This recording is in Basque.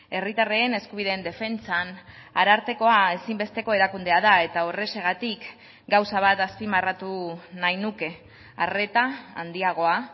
herritarren eskubideen defentsan arartekoa ezinbesteko erakundea da eta horrexegatik gauza bat azpimarratu nahi nuke arreta handiagoa